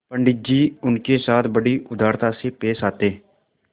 पंडित जी उनके साथ बड़ी उदारता से पेश आते